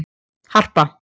Harpa